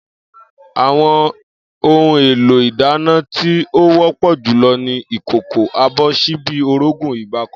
Àwo̩n ohun-èlò ìdáná tí ó wó̩pò̩ jù lo̩ ni ìkòkò, abò̩, s̩íbí, orógùn, ìgbáko̩